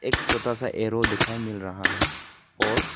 एक छोटा सा एरो दिखाई मिल रहा है और।